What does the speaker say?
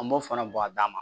An b'o fana bɔn a dama